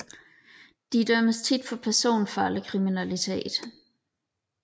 De dømmes tit for personfarlig kriminalitet